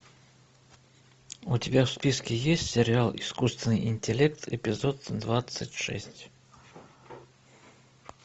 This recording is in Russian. у тебя в списке есть сериал искусственный интеллект эпизод двадцать шесть